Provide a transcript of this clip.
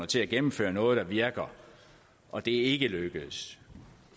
til at gennemføre noget der virker og det er ikke lykkedes